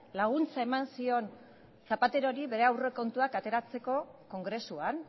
laguntza eman zion zapaterori bere aurrekontuak ateratzeko kongresuan